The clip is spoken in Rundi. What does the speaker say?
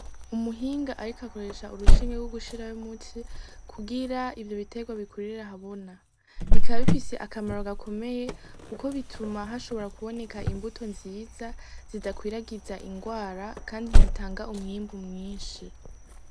Umuhinga ariko akoresha urushinge go gushiramwo umuti kugira ivyo biterwa bikurire ahabona. Bikaba bifise akamaro gakomeye kuko bituma hashobora kuboneka imbuto nziza zidakwiragiza ingwara kandi zitanga umwimbu mwinshi.